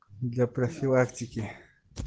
для профилактики